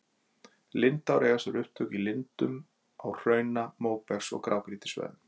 Lindár eiga sér upptök í lindum á hrauna-, móbergs- og grágrýtissvæðum.